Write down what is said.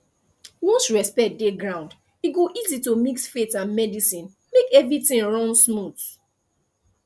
once respect dey ground e go easy to mix faith and medicine make everything run smooth